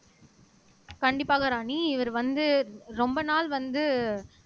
கண்டிப்பாக ராணி இவர் வந்து ரொம்ப நாள் வந்து